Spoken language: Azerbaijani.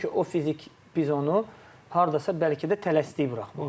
Çünki o fizik biz onu hardasa bəlkə də tələsdik buraxmaq.